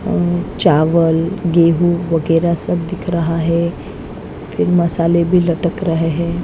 चावल गेहूं वगैरह सब दिख रहा हैं फिर मसाले भी लटक रहे हैं ।